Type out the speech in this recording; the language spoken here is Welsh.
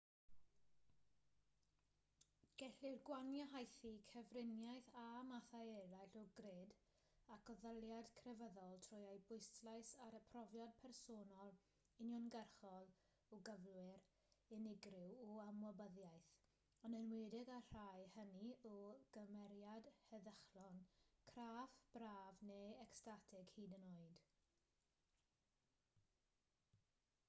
gellir gwahaniaethu cyfriniaeth â mathau eraill o gred ac addoliad crefyddol trwy ei bwyslais ar y profiad personol uniongyrchol o gyflwr unigryw o ymwybyddiaeth yn enwedig y rhai hynny o gymeriad heddychlon craff braf neu ecstatig hyd yn oed